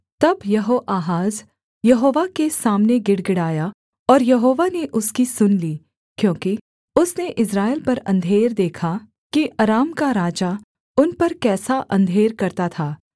तब यहोआहाज यहोवा के सामने गिड़गिड़ाया और यहोवा ने उसकी सुन ली क्योंकि उसने इस्राएल पर अंधेर देखा कि अराम का राजा उन पर कैसा अंधेर करता था